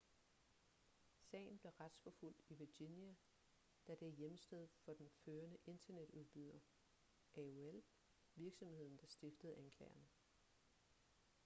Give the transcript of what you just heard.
sagen blev retsforfulgt i virginia da det er hjemsted for den førende internetudbyder aol virksomheden der stiftede anklagerne